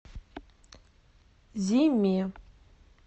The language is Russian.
зиме